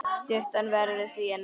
Sturtan verður því að nægja.